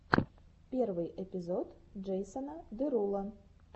первый эпизод джейсона деруло